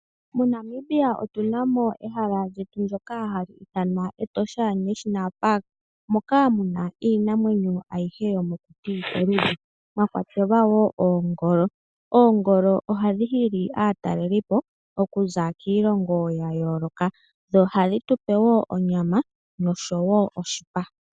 MoNamibia otunamo ehala ndyoka haliithanwa Etosha National Park moka muna iinamwenyo ayihe yomokuti, mwakwatelwa woo oongolo. Oongolo ohadhi hili aataleli okuza kiilonga ya yooloka dho ohadhi tupe woo onyama nosho woo oshipa.